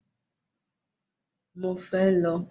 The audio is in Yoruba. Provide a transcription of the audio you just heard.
Mo fẹ́ lo